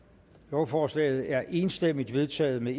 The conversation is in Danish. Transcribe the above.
lovforslaget er enstemmigt vedtaget med